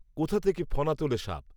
কোথা থেকে ফণা তোলে সাপ